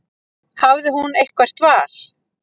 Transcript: Hafði hún eitthvert val?